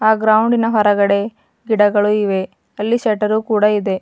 ಆ ಗ್ರೌಂಡಿನ ಒಳಗಡೇ ಗಿಡಗಳು ಇವೆ ಅಲ್ಲಿ ಸೆಟರು ಕೂಡ ಇದೆ.